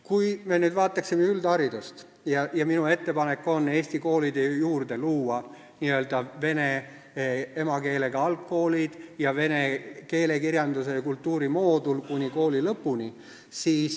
Kui me nüüd vaataksime üldharidust, siis minu ettepanek on Eesti koolide juurde luua n-ö vene emakeelega algkoolid ning vene keele, kirjanduse ja kultuuri moodul kuni kooli lõpuni.